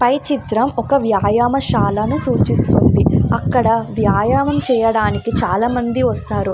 పై చిత్రం ఒక వ్యాయామా శాలను సూచిస్తుంది. అక్కడ వ్యాయామ చేయడానికి చాలామంది వస్తారు.